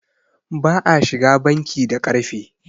ba a shiga banki da ƙarfe